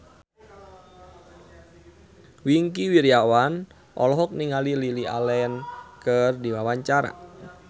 Wingky Wiryawan olohok ningali Lily Allen keur diwawancara